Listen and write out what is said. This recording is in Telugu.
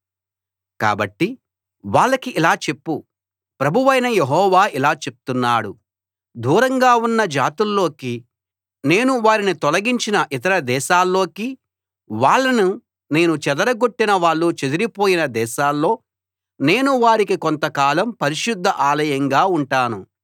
కాబట్టి వాళ్ళకి ఇలా చెప్పు ప్రభువైన యెహోవా ఇలా చెప్తున్నాడు దూరంగా ఉన్న జాతుల్లోకి నేను వారిని తొలగించినా ఇతర దేశాల్లోకి వాళ్ళని నేను చెదరగొట్టినా వాళ్ళు చెదరిపోయిన దేశాల్లో నేను వారికి కొంతకాలం పరిశుద్ద ఆలయంగా ఉంటాను